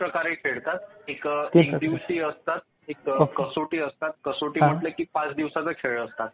तीन प्रकारे खेळतात. एक एकदिवसीय असतात. एक कसोटी असतात, कसोटी म्हटलं की पाच दिवसांचा खेळ होतो.